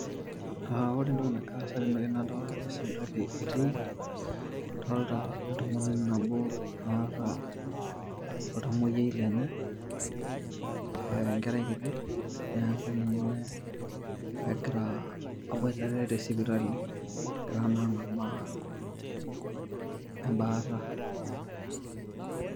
Ore entoki nagira aasa tenewueji nadolita sipitali etiiki, adolita entomononi nabo, naata eltamwoyiai lenye, enkerai kiti neaku ninye Ina egira abwoitare te sipitali, egira naa ang'amaa embaata.